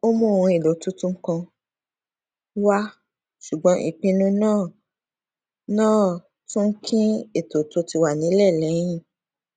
ó mú ohun èlò tuntun kan wá ṣùgbọn ìpinnu náà náà tún kín ètò tó ti wà nílẹ lẹyìn